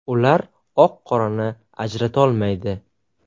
Ular oq-qorani ajratolmaydi.